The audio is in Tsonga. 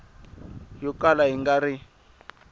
yo kala yi nga ri